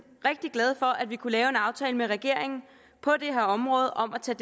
rigtig glade for at vi kunne lave en aftale med regeringen på det her område om at tage